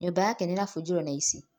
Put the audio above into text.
Nyũmba yake nĩ ĩrabinjirwo nĩaici.